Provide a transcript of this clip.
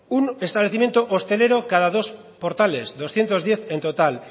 un establecimiento hostelero cada dos portales doscientos diez en total